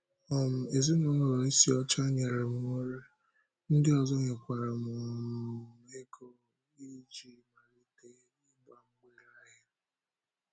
um Ezinụlọ Isiocha nyere m nri, ndị ọzọ nyekwara um m ego iji malite ịgba mgbèrè ahịa.